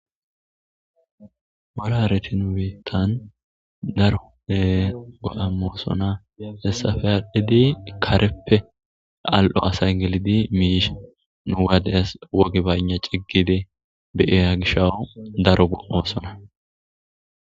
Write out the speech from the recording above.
Mola hareti nubitan daro goa imoosona hessafe adhidi kareppe al' o asay gelidi miisha nuwades wogi baynna ciggide beyeya gishawo daro gosona